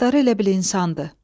Başları elə bil insandı.